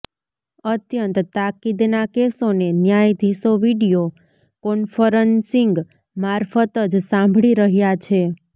અત્યંત તાકીદના કેસોને ન્યાયાધીશો વિડિયો કોન્ફરન્સિંગ મારફત જ સાંભળી રહ્યા છે